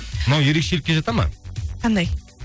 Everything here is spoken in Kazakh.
мынау ерекшелікке жата ма қандай